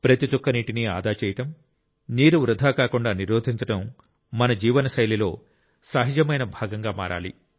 ప్రతి చుక్క నీటిని ఆదా చేయడం నీరు వృధా కాకుండా నిరోధించడం మన జీవనశైలిలో సహజమైన భాగంగా మారాలి